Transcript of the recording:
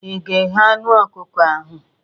Ị ga-eghe anụ ọkụkọ ahụ?